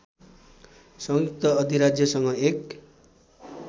संयुक्त अधिराज्यसँग एक